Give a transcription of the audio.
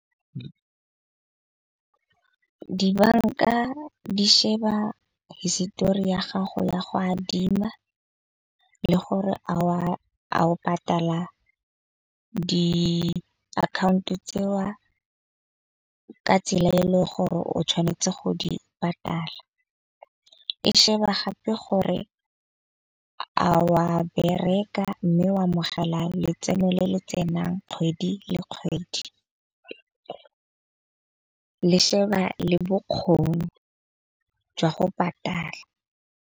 Dibanka di sheba histori ya gago ya go adima le gore, a a o patala diakhaonto tseo ka tsela e le gore o tshwanetse go di patala. E sheba gape gore a wa bereka. Mme o amogele letseno le le tsenang kgwedi le kgwedi, le sheba le bokgoni jwa go patala.